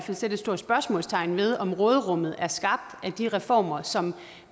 vil sætte et stort spørgsmålstegn ved om råderummet er skabt af de reformer som